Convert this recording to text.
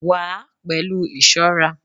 wa a pelu isorà